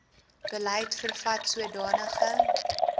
beleid vervat sodanige